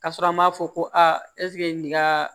Ka sɔrɔ an m'a fɔ ko aa eseke nin ka